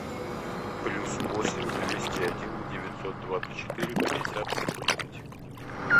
плюс восемь двести один девятьсот двадцать четыре пятьдесят тридцать